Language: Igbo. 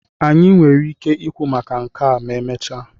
anyị nwere ike ikwu maka nke a ma emechaa?